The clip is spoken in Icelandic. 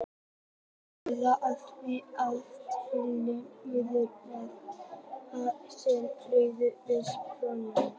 Hvítá hefur því átt tiltölulega auðvelt með að grafa sig inn í hraunið við Barnafoss.